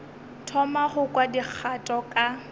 thoma go kwa dikgato ka